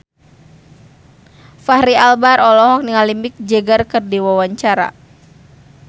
Fachri Albar olohok ningali Mick Jagger keur diwawancara